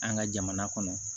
An ka jamana kɔnɔ